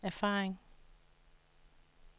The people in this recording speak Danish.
erfaring